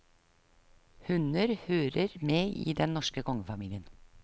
Hunder hører med i den norske kongefamilien.